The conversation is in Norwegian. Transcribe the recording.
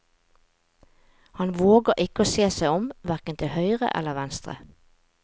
Han våger ikke å se seg om, hverken til høyre eller venstre.